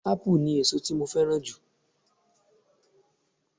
Ápù ni èso tí mo fẹ́ràn jù